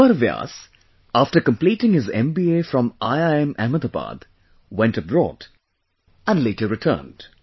Amar Vyas after completing his MBA from IIM Ahmedabad went abroad and later returned